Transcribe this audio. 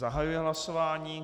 Zahajuji hlasování.